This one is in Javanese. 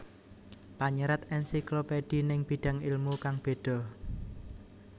Panyerat Ensiklopedi ning bidang ilmu kang beda